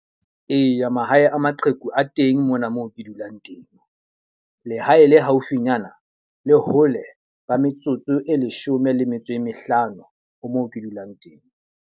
Eya, mahae a maqheku a teng mona moo ke dulang teng. Lehae le haufinyana le hole ba metsotso e leshome le metso e mehlano, ho moo ke dulang teng.